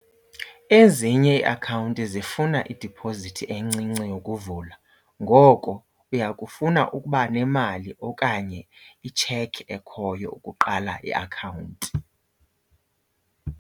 Ezinye iiakhawunti zifuna idiphozithi encinci yokuvula. Ngoko uya kufuna ukuba nemali okanye itshekhi ekhoyo ukuqala iakhawunti.